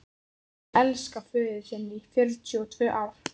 Ég elskaði föður þinn í fjörutíu og tvö ár.